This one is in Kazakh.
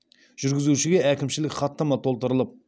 жүргізушіге әкімшілік хаттама толтырылып